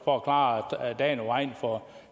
for at klare dagen af vejen for